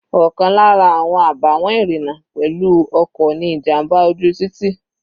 Ọ̀kan lára àwọn àbàwọ́n ìrìna pẹ̀lú ọkọ̀ ni ìjàmbá ojú títì.